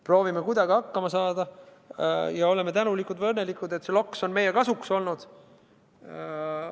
Proovime kuidagi hakkama saada ja oleme tänulikud või õnnelikud, et see loks on meie kasuks olnud.